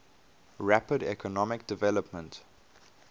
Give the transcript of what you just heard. rapid economic development